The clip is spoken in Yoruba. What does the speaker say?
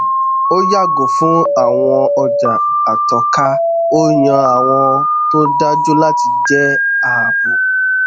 ó yàgò fún àwọn ọjà àtọka ó yan àwọn tó dájú láti jẹ ààbò